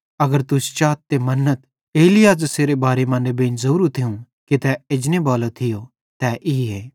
अगर तुस चाथ ते मन्नथ एलिय्याह ज़ेसेरे बारे मां नेबेईं ज़ोरू थियूं कि तै एजनेबालो थियो तै ईए